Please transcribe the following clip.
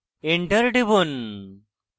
enter টিপুন